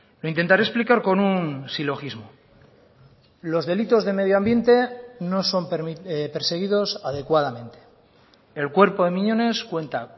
lo intentaré explicar con un silogismo los delitos de medioambiente no son perseguidos adecuadamente el cuerpo de miñones cuenta